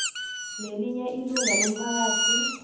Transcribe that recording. nelinye ilunga lomphakathi